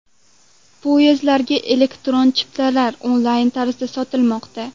Poyezdlarga elektron chiptalar onlayn tarzda sotilmoqda.